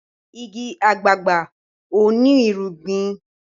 ìgi àgbagbà o ní irúgbìn.